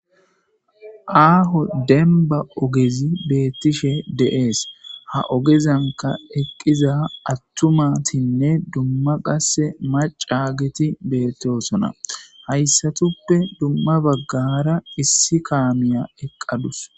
aaho denba ogezi beettishe de7ees ha ogezanka eqqiza attumatinne dumma qase macaagiti beettosona hayssatuppe dumma baggara issi kaamiya eqqadus